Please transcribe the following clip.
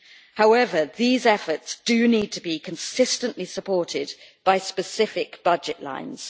However, these efforts need to be consistently supported by specific budget lines.